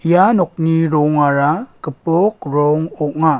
ia nokni rongara gipok rong ong·a.